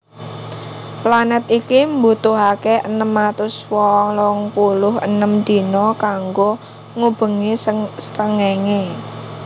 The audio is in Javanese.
Planèt iki mbutuhaké enem atus wolung puluh enem dina kanggo ngubengi srengéngé